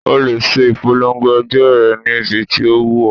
O lè ṣe ìpolongo ẹgbẹ́ rẹ níbi tí ó wù ọ́